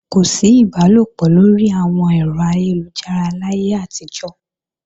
Kò sí ìbálòpọ̀ lórí àwọn ẹ̀rọ ayélujára láyé àtijọ́